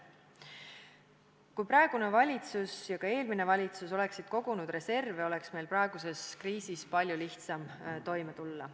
Kui praegune ja ka eelmine valitsus oleksid kogunud reserve, oleks meil praeguses kriisis palju lihtsam toime tulla.